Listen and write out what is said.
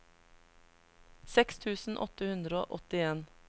seks tusen åtte hundre og åttien